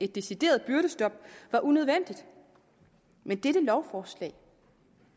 et decideret byrdestop var unødvendigt men dette lovforslag